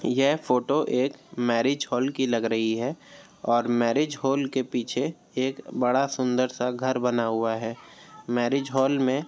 यह फोटो एक marriage hall की लग रही है और मैरिज हॉल के पीछे एक बड़ा सुन्दर सा घर बना हुआ है। मैरिज हॉल में --